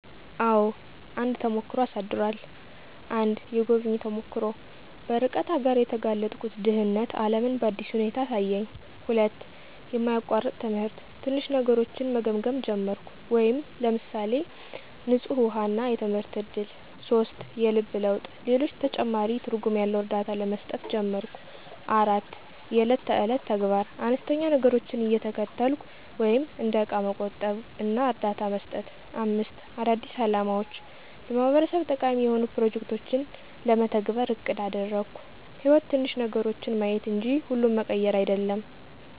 **አዎ፣ አንድ ተሞክሮ አሳድሯል!** 1. **የጎብኚ ተሞክሮ** - በርቀት አገር የተጋለጥኩት ድህነት ዓለምን በአዲስ ሁኔታ አሳየኝ። 2. **የማያቋርጥ ትምህርት** - ትንሽ ነገሮችን መገምገም ጀመርኩ (ለምሳሌ፣ ንፁህ ውሃ እና የትምህርት እድል)። 3. **የልብ ለውጥ** - ለሌሎች ተጨማሪ ትርጉም ያለው እርዳታ መስጠት ጀመርኩ። 4. **የዕለት ተዕለት ተግባር** - አነስተኛ ነገሮችን እየተከተልኩ (እንደ እቃ መቆጠብ እና እርዳታ መስጠት)። 5. **አዳዲስ አላማዎች** - ለማህበረሰብ ተጠቃሚ የሆኑ ፕሮጀክቶችን ለመተግበር አቅድ አደረግኩ። > _"ሕይወት ትንሽ ነገሮችን ማየት እንጂ ሁሉን መቀየር አይደለም!"_